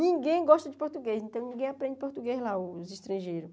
Ninguém gosta de português, então ninguém aprende português lá, os estrangeiros.